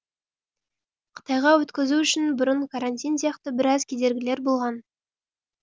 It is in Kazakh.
қытайға өткізу үшін бұрын карантин сияқты біраз кедергілер болған